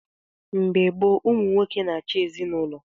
Mgbe gboo, ụmụ nwoke na-achị ezinaụlọ.